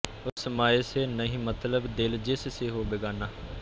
ਉਸ ਮਯ ਸੇ ਨਹੀਂ ਮਤਲਬ ਦਿਲ ਜਿਸ ਸੇ ਹੋ ਬੇਗਾਨਾ